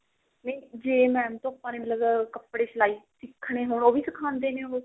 ਨਹੀਂ ਜੇ mam ਤੋਂ ਆਪਾਂ ਨੇ ਮਤਲਬ ਕੱਪੜੇ ਦੀ ਸਲਾਈ ਸਿੱਖਣੀ ਹੋਵੇ ਉਹ ਵੀ ਸਿਖਾਉਂਦੇ ਨੇ ਉਹ